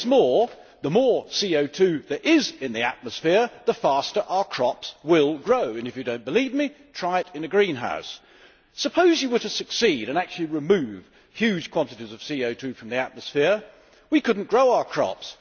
What is more, the more CO 2 there is in the atmosphere, the faster our crops will grow. If you do not believe me, try it in a greenhouse. Suppose you were to succeed and actually remove huge quantities of CO 2 from the atmosphere we could not grow our crops.